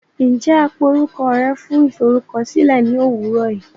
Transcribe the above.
Njẹ a pé orukọ rẹ fún iforukọsilẹ ni owurọ yii!?